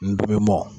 N dimi mɔ